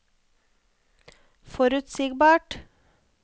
forutsigbart